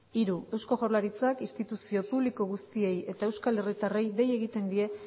hiru eusko jaurlaritzak instituzio publiko guztiei eta euskal herritarrei dei egiten die